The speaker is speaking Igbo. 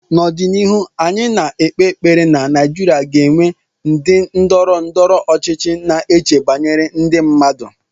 N'ọdịnihu, anyị na-ekpe ekpere na Nigeria ga-enwe ndị ndọrọ ndọrọ ọchịchị na-eche banyere ndị mmadụ